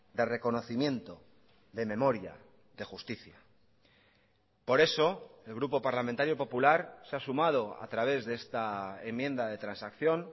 de reconocimiento de memoria de justicia por eso el grupo parlamentario popular se ha sumado a través de esta enmienda de transacción